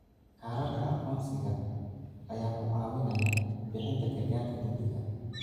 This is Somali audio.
Kaararka aqoonsiga ayaa ku caawinaya bixinta gargaarka degdegga ah.